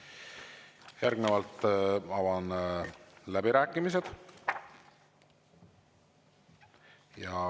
Järgnevalt avan läbirääkimised.